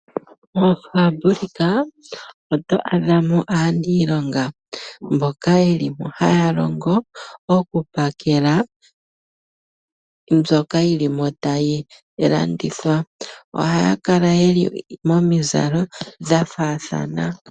Moofaambulika oto adhamo aaniilonga mboka yelipo haalongo okupakela mbyoka yilimo tayilandithwa. Ohaakala yeli momizalo dhafaathana.